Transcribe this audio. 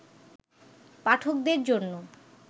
পাঠকদের জন্য